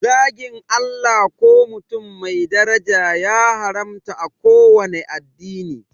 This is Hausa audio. Zagin Allah ko mutum mai daraja ya haramta a kowanne addini